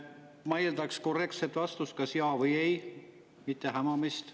Ma eeldaksin korrektset vastust, kas jaa või ei, mitte hämamist.